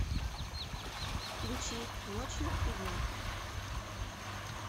включи ночью и днем